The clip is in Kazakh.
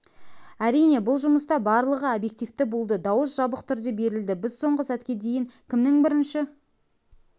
әрине бұл жұмыста барлығы объективті болды дауыс жабық түрде берілді біз соңғы сәтке дейін кімнің бірінші